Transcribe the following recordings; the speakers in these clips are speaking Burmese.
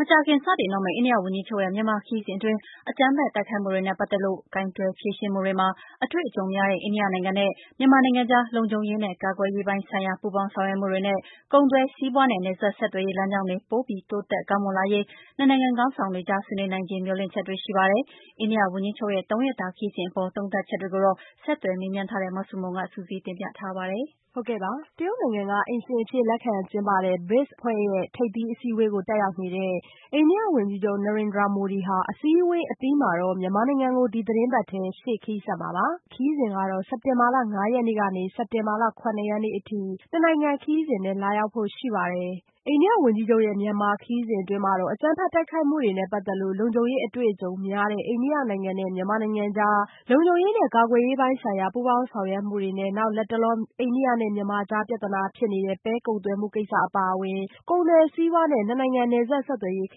မကြာခင်စတင်တော့မယ့် အိန္ဒိယဝန်ကြီးချုပ်ရဲ့ မြန်မာခရီးစဉ်အတွင်း အကြမ်းဖက်တိုက်ခိုက်မှုတွေနဲ့ ပတ်သက်လို့ ကိုင်တွယ်ဖြေရှင်းမှုတွေမှာ အတွေ့အကြုံများတဲ့ အိန္ဒိယနိုင်ငံနဲ့ မြန်မာနိုင်ငံကြား လုံခြုံရေးနဲ့ကာကွယ်ရေးပိုင်းဆိုင်ရာ ပူးပေါင်းဆောင်ရွက်မှုတွေနဲ့ ကုန်သွယ်စီးပွားနဲ့ နယ်စပ်ဆက်သွယ်ရေး လမ်းကြောင်းတွေ ပိုပြီး တိုးတက်ကောင်းမွန်လာရေး နှစ်နိုင်ငံခေါင်းဆောင်တွေကြား ဆွေးနွေးနိုင်ခြေ မျှော်လင့်ချက်တွေရှိပါတယ်။ အိန္ဒိယဝန်ကြီးချုပ်ရဲ့ သုံးရက်တာခရီးစဉ်အပေါ် သုံးသပ်ချက်တွေကိုတော့ ဆက်သွယ်မေးမြန်းချက်ထားတဲ့ မဆုမွန်က စုစည်းတင်ပြထားပါတယ်။ တရုတ်နိုင်ငံက အိမ်ရှင်အဖြစ် လက်ခံကျင်းပတဲ့ BRICS အဖွဲ့ ထိပ်သီးအစည်းအဝေးကို တက်ရောက်နေတဲ့ အိန္ဒိယဝန်ကြီးချုပ် Narendra Modi ဟာ အစည်းအဝေးအပြီးမှာတော့မြန်မာနိုင်ငံကို ဒီသီတင်းပတ် ထဲရှေ့ခရီးဆက်မှာပါ။ အိန္ဒိယဝန်ကြီးချုပ်ရဲ့ မြန်မာခရီးစဉ်ကတော့ စက်တင်ဘာလ ၅ ရက်နေ့ ကနေ စက်တင်ဘာလ ၇ ရက်နေ့ အထိ နှစ်နိုင်ငံခရီးစဉ်နဲ့ လာရောက်ဖို့ ရှိပါတယ်။ အိန္ဒိယဝန်ကြီးချုပ်ရဲ့ မြန်မာခရီးစဉ်အတွင်း အကြမ်းဖက်တိုက်ခိုက်မှုတွေနဲ့ ပတ်သက်လို့ လုံခြုံရေး အတွေ့အကြုံများတဲ့ အိန္ဒိယနိုင်ငံနဲ့ မြန်မာနိုင်ငံကြား လုံခြုံရေးနဲ့ကာကွယ်ရေးပိုင်းဆိုင်ရာ ပူးပေါင်းဆောင်ရွက်မှုတွေနဲ့ နောက် လတ်တလော အိန္ဒိယနဲ့မြန်မာကြား ပြသနာဖြစ်နေတဲ့ ပဲကုန်သွယ်မှုကိစ္စအပါအဝင် ကုန်သွယ်စီးပွားနဲ့ နှစ်နိုင်ငံ နယ်စပ်ဆက်သွယ်ရေး ခ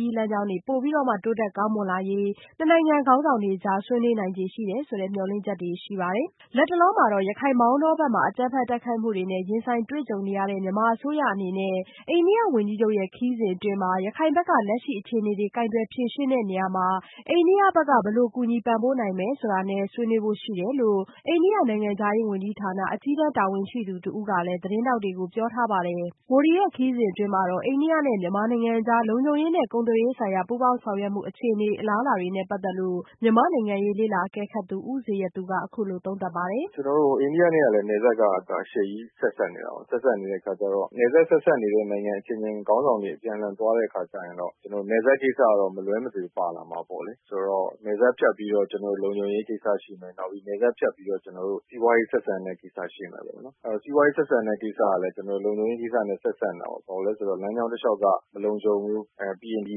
ရီးလမ်းကြောင်းတွေ ပိုပြီးတော့မှ တိုးတက်ကောင်းမွန်လာရေး နှစ်နိုင်ငံခေါင်းဆောင်တွေကြား ဆွေးနွေးနိုင်ခြေရှိတယ်ဆိုတဲ့ မျှော်လင့်ချက်တွေရှိပါတယ်။ လတ်တလောမှာတော့ ရခိုင် မောင်တောဘက်မှာ အကြမ်းဖက် တိုက်ခိုက်မှုတွေနဲ့ ရင်ဆိုင်ကြုံတွေ့နေရတဲ့ မြန်မာအစိုးရအနေနဲ့အိန္ဒိယဝန်ကြီးချုပ်ရဲ့ ခရီးစဉ်အတွင်း ရခိုင်ပြည်နယ်က လက်ရှိအခြေအနေတွေကို ကိုင်တွယ်ဖြေရှင်းတဲ့နေရာမှာ အိန္ဒိယဘက်က ဘယ်လို ကူညီပံ့ပိုးနိုင်မယ်ဆိုတာနဲ့ ဆွေးနွေးဖို့ရှိတယ်လို့ အိန္ဒိယနိုင်ငံခြားရေးဌာန၊ အကြီးတန်းတာဝန်ရှိသူတဦးကလည်း သတင်းထောက်တွေကို ပြောထားပါတယ်။ Modi ခရီးစဉ်အတွင်း အိန္ဒိယနဲ့မြန်မာနိုင်ငံကြား လုံခြုံရေးနဲ့ ကာကွယ်ရေး ဆိုင်ရာ ပူးပေါင်းဆောင်ရွက်မှုအခြေအနေ အလားအလာနဲ့ပတ်သက်လို့ မြန်မာ့နိုင်ငံရေးလေ့လာအကဲခတ်သူ ဦးဇေယျသူက အခုလိုသုံးသပ်ပါတယ်။ “ကျနော်တို့ အိန္ဒိယနဲ့လည်း နယ်စပ်က အရှည်ကြီးဆက်စပ်နေတာကို ၊ အဲလိုဆက်စပ်နေတဲ့အခါကျတော့ နယ်စပ်ဆက်စပ်နေတဲ့ နိုင်ငံ ခေါင်းဆောင်တွေအပြန်အလှန်သွားတဲ့အခါကျတော့ နယ်စပ်ကိစ္စကတော့ မလွဲမသွေပါလာမှာပေါ့လေ။ ဆိုတော့ နယ်စပ်ဖြတ်ပြီးတော့ လုံခြုံရေးကိစ္စတွေရှိမယ်၊ နောက်ပြီးနယ်စပ်ဖြတ်ပြီးတော့ စီးပွားရေးဆက်ဆံတဲ့ကိစ္စတွေရှိမယ်ပေါ့နော်။ အဲလို စီးပွားရေးဆက်ဆံတဲ့ကိစ္စတွေကလည်း လုံခြုံရေးကိစ္စတွေနဲ့ ဆက်စပ်နေတာကို ဘာလို့လဲဆိုတော့ လမ်းကြောင်းတလျောက်က မလုံခြုံဘူး ၊ ပြီးရင် ဒီ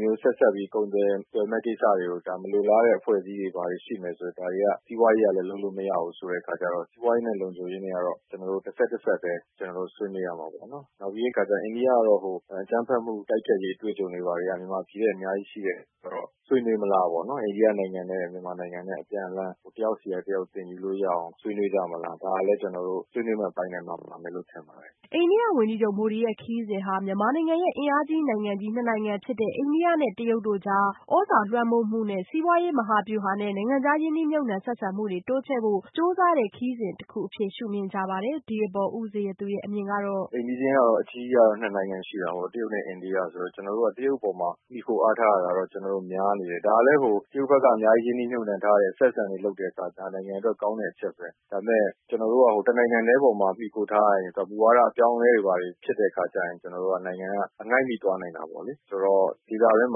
လိုဆက်စပ်ပြီး ကုန်သွယ်မယ့်ကိစ္စတွေကို မလိုလားအပ်တဲ့အဖွဲ့အစည်းတွေဘာတွေရှိမယ်ဆိုရင် ဒါတွေက စီးပွားရေးကလည်းလုပ်လို့မရဘူးဆိုတဲ့အခါကျတော့ စီးပွားရေးနဲ့ လုံခြုံရေးက ဆက်စပ်ပြီးတော့ ဆွေးနွေးရမှာပေါ့နော် နောက်ပြီးတဲ့အခါကျတော့ အိန္ဒိယကတော့ အကြမ်းဖက်မှု တိုက်ဖျက်ရေးအတွေ့အကြုံတွေက မြန်မာပြည်ထက်အများကြီးရှိတဲ့အခါကျတော့ ဆွေးနွေးမလားပေါ့နော် အိန္ဒိယနိုင်ငံနဲ့ မြန်မာနိုင်ငံ အပြန်အလှန် တယောက်ဆီက တယောက်သင်ယူလို့ရအောင် ဆွေးနွေးမလား ဒါကလည်းကျနော်တို့ ဆွေးနွေးမယ့်အပိုင်းမှာ ပါဝင်မယ်လို့ ထင်ပါတယ်။” အိန္ဒိယဝန်ကြီးချုပ် မိုဒီရဲ့ ခရီးစဉ်ဟာ မြန်မာနိုင်ငံရဲ့ အင်အားကြီးနိုင်ငံကြီးနှစ်နိုင်ငံဖြစ်တဲ့ အိန္ဒိယနဲ့ တရုတ်တို့ကြား သြဇာလွှမ်းမိုးမှု စီးပွားရေး မဟာဗျူဟာနဲ့ နိုင်ငံခြားရင်းနှီးမြုပ်နံှမှု ဆက်ဆံမှုတွေ တိုးချဲ့ဖို့ ကြိုးစားတဲ့ ခရီးစဉ်အဖြစ် ရှု့မြင်ကြပါတယ်။ ဒီအပေါ် ဦးဇေယျသူရဲ့ အမြင်ကတော့ “အိမ်နီးချင်းကတော့ အကြီး ၂ နိုင်ငံရှိတာပေါ့ တရုတ်နဲ့ အိန္ဒိယဆိုတော့ ကျနော်တို့က တရုတ်ပေါ်မှာ မှီခိုအားထားတာက ကျနော်တို့ များနေတယ်၊ ဒါလည်း တရုတ်ဘက်က အများကြီးရင်းနှီးမြုပ်နှံထားတဲ့ ဆက်ဆံရေးလုပ်တဲ့အခါတော့ နိုင်ငံအတွက်ကောင်းတဲ့အချက်ပဲ။ ဒါပေမယ့် ကျနော်တို့က ၁ နိုင်ငံထဲမှာ မှီခိုထားရင် မူဝါဒအပြောင်းအလဲတွေဖြစ်တဲ့အခါကျရင် ကျနော်တို့နိုင်ငံက အငိုက်မိသွားနိုင်တာပေါ့နော်။ ဒေသအတွင်း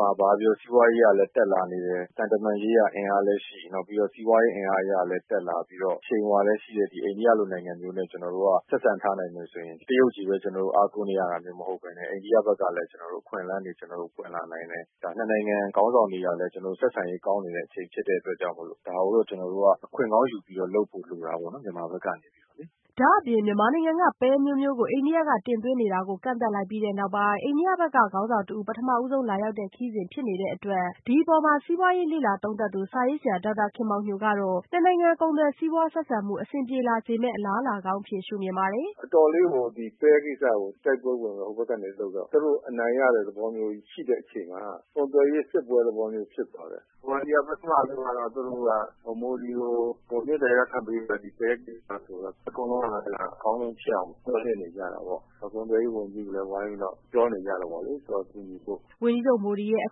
မှာ ဘာပဲပြောပြော စီးပွားရေးအရလည်း တက်လာနေတယ်၊ သံတမန်ရေးအရ အင်အားလည်းရှိ နောက်ပြီးတော့ စီးပွားရေးအရလည်း တက်လာပြီးတော့ အရှိန်အဝါလည်းရှိတဲ့ အိန္ဒိယလိုနိုင်ငံမျိုးနဲ့ ကျနော်တို့ ဆက်ဆံထားနိုင်မယ်ဆိုရင် ကျနော်တို့ တရုတ်ပဲအားကိုးနေရတာမျိုးမဟုတ်ပဲနဲ့ အိန္ဒိယဘက်ကလည်း အခွင့်အလမ်းတွေ ပွင့်လာနိုင်တယ်၊ ဒါ ၂ နိုင်ငံ ခေါင်းဆောင်တွေကလည်း ဆက်ဆံရေးကောင်းတဲ့အချိန်ဖြစ်တဲ့အတွက် ဒါကိုတော့ ကျနော်တို့က အခွင့်ကောင်းယူပြီးလုပ်ဖို့တော့ လိုတာပေါ့နော် မြန်မာဘက်ကနေပြီးတော့လေ။” ဒါ့အပြင် မြန်မာနိုင်ငံက ပဲအမျိုးမျိုးကို အိန္ဒိယက တင်သွင်းနေတာ ကန့်သတ်လိုက်ပြီးတဲ့ နောက်ပိုင်း အိန္ဒိယဘက်က ခေါင်းဆောင်တဦး ပထမဆုံးလာရောက်မယ့် ခရီးစဉ်လည်း ဖြစ်ပါတယ်။ ဒီအပေါ် စာရေးဆရာဒေါက်တာခင်မောင်ညိုကတော့ နှစ်နိုင်ငံ ကုန်သွယ်စီးပွားဆက်ဆံမှု အဆင်ပြေလာစေမယ့် အလားအလာကောင်းအဖြစ် ရှု့မြင်ပါတယ်။ “အတော်လေးကို ပဲကိစ္စကို တိုက်ပွဲလို ဟိုဘက်ကနေလုပ်တော့ သူတို့အနိုင်ရတဲ့သဘောမျိုးကြီးရှိတဲ့အချိန်မှာ ကုန်သွယ်ရေးစစ်ပွဲသဘောမျိုးဖြစ်သွားတယ်။ မြန်မာပြည်က ပထမတုန်းကတော့မိုဒီကိုမေတ္တာရပ်ခံဖို့ ဒီ ပဲ ကိစ္စဆိုတော့ အကောင်းဆုံးဖြစ်အောင်မျှော်လင့်နေကြတာပေ့ါ။ ဝိုင်းပြီးတော့ပြောနေကြတာပေါ့လေ ကူညီဖို့။” ဝန်ကြီးချုပ်မိုဒီရဲ့ အ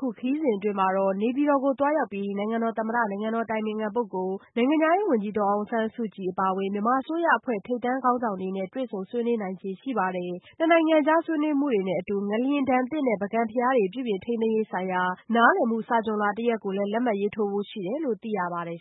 ခုခရီးစဉ်အတွင်းမှာတော့ နေပြည်တော်မှာ နိုင်ငံတော်သမ္မတ၊ နိုင်ငံတော်အတိုင်ပင်ခံပုဂ္ဂိုလ်နဲ့ နိုင်ငံခြားရေးဝန်ကြီး ဒေါ်အောင်ဆန်းစုကြည် အပါအဝင် မြန်မာအစိုးရအဖွဲ့ ထိပ်တန်း ခေါင်းဆောင်တွေနဲ့ တွေ့ဆုံ ဆွေးနွေးဖို့ရှိပါတယ်။ နှစ်နိုင်ငံကြား ဆွေးနွေးမှုတွေနဲ့အတူ ငလျင်ဒဏ်သင့် ပုဂံဘုရားတွေ ပြုပြင်ထိန်းသိမ်းရေးဆိုင်ရာ နားလည်မှုစာချွန်လွှာ တရပ်ကိုလဲ လက်မှတ်ရေးထိုးဖို့ရှိတယ်လို့သိရပါတယ်